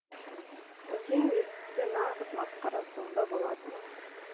әкең естісе нағыз масқара сонда болады